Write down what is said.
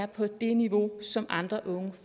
på det niveau som andre unge